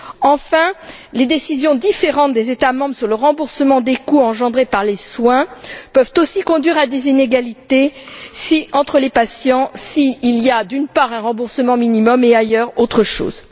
Enfin, les décisions différentes des États membres sur le remboursement des coûts engendrés par les soins peuvent aussi conduire à des inégalités entre les patients s'il y a d'un côté un remboursement minimum et, ailleurs, autre chose.